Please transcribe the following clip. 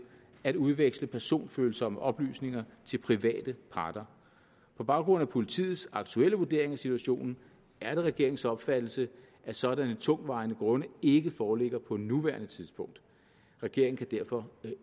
at udveksle personfølsomme oplysninger til private parter på baggrund af politiets aktuelle vurdering af situationen er det regeringens opfattelse at sådanne tungtvejende grunde ikke foreligger på nuværende tidspunkt regeringen kan derfor